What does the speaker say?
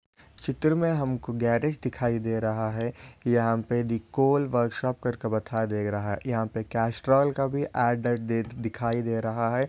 चित्र मे हमको गॅरेज दिखाई दे रहा है यहा पे दि कोल वोर्कशॉप करके बताई दे रहा है यहा पे कैस्ट्रॉल का भी ऍड दिखाई दे रहा है।